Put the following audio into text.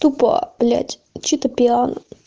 тупо блять чито пиано